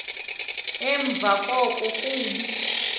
emva koko kuba